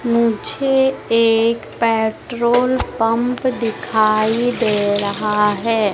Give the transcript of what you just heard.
मुझे एक petrol pump दिखाई दे रहा है।